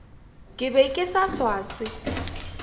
ke be ke sa swaswe